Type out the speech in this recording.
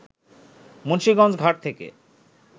মুন্সীগঞ্জ ঘাট থেকে